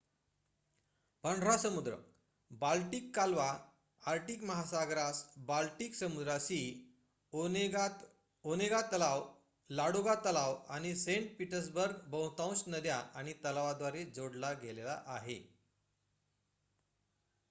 पांढरा समुद्र बाल्टिक कालवा आर्क्टिक महासागरास बाल्टिक समुद्राशी ओनेगातलाव लाडोगा तलाव आणि सेंट पीटर्सबर्ग बहुतांश नद्या आणि तलावाद्वारे जोडला गेलेला आहे